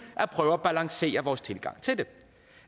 at prøve at balancere vores tilgang til det